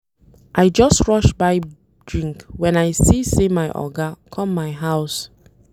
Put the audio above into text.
I just rush buy drink wen I see sey my oga come my house.